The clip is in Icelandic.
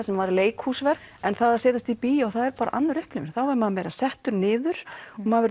sem var leikhúsverk en það að setjast í bíó er bara önnur upplifun þá er maður settur niður maður